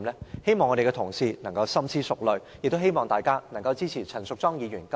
我希望各位同事深思熟慮，支持陳淑莊議員今次提出的中止待續議案。